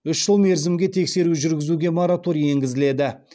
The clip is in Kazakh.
үш жыл мерзімге тексеру жүргізуге мораторий енгізіледі